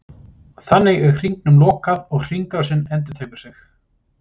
Þannig er hringnum lokað og hringrásin endurtekur sig.